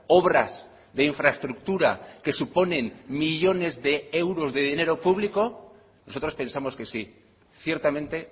obras de infraestructura que suponen millónes de euros de dinero público nosotros pensamos que sí ciertamente